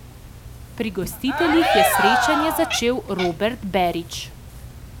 Pri gostiteljih je srečanje začel Robert Berić.